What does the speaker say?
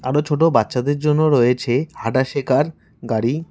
আরও ছোট বাচ্চাদের জন্য রয়েছে হাঁটা শেখার গাড়ি।